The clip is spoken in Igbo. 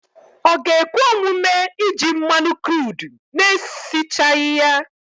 Ọ ga-ekwe omume iji mmanụ kruudu na-esichaghị ya?